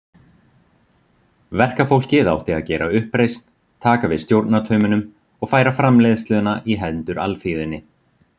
Verkafólkið átti að gera uppreisn, taka við stjórnartaumunum og færa framleiðsluna í hendur alþýðunni.